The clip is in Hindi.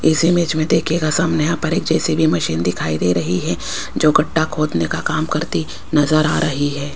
इस इमेज में देखिएगा सामने यहां पर एक जे_सी_बी मशीन दिखाई दे रही है जो गड्ढा खोदने का काम करती नजर आ रही है।